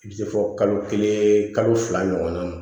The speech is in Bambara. I bɛ se fɔ kalo kelen kalo fila ɲɔgɔnna ma